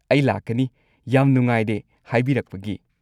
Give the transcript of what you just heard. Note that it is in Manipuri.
ꯑꯩ ꯂꯥꯛꯀꯅꯤ, ꯌꯥꯝ ꯅꯨꯡꯉꯥꯏꯔꯦ ꯍꯥꯏꯕꯤꯔꯛꯄꯒꯤ!